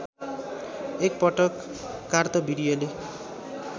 एक पटक कार्तवीर्यले